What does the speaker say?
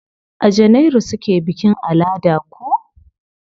A janairu suke bikin alada ko?